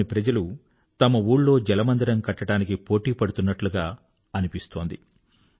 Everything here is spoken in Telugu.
గ్రామంలోని ప్రజలు తమ ఊళ్ళో జలమందిరం కట్టడానికి పోటీ పడుతున్నట్టుగా అనిపిస్తుంది